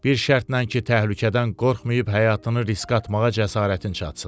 Bir şərtlə ki, təhlükədən qorxmayıb həyatını riskə atmağa cəsarətin çatsın.